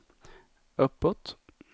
uppåt